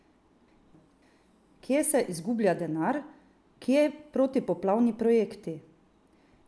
Kje se izgublja denar, kje protipoplavni projekti?